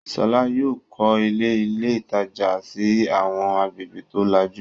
Ṣọlá yóò kọ́ ilé ilé-ìtajà sí àwọn agbègbè tó lajú.